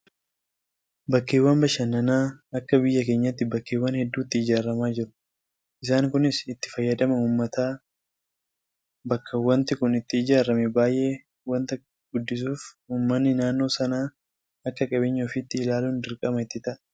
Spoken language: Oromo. Bakkeewwan bashannanaa akka biyya keenyaatti bakkeewwan hedduutti ijaaramaa jiru. Isaan kunis itti fayyadama uummata bakka waanti kun itti ijaaramee baay'ee waanta guddisuuf uummanni naannoo sanaa akka qabeenya ofiitti ilaaluun dirqama itti ta'a.